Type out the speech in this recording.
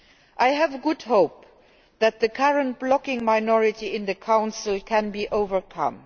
I really hope that the current blocking minority in the Council can be overcome.